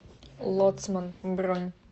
лоцман бронь